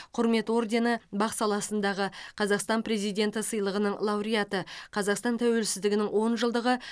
құрмет ордені бақ саласындағы қазақстан президенті сыйлығының лауреаты қазақстан тәуелсіздігінің он жылдығы